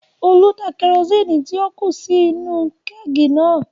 Olú da kerosini tí ó kù sí inú-u kẹ́ẹ̀gì náà